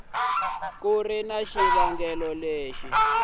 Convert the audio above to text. ku ri na xivangelo lexi